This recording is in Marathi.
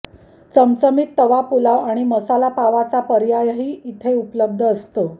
चमचमीत तवा पुलाव आणि मसालापावाचा पर्यायही इथं उपलब्ध असतो